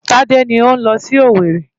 Tádé ni ó ń lọ sí Owerri.